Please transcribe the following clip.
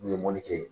N'u ye mɔni kɛ